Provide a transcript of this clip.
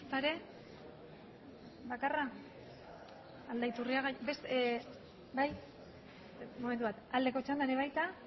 ez aldeko txandan ere baita